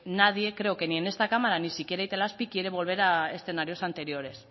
nadie creo que ni en esta cámara ni siquiera itelazpi quiere volver a escenarios anteriores